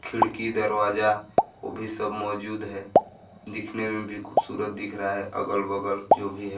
खिड़की दरवाजा वो भी सब मौजूद है दिखने में भी खूबसूरत दिख रहा है अगल -बगल जो भी हैं।